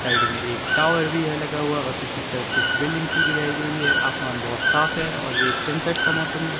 Side में एक tower भी है लगा हुआ और पीछे की तरफ कुछ बिल्डिंग्स भी दिखाई दे रही है आसमान बहोत साफ है और ये एक सनसेट का मौसम है।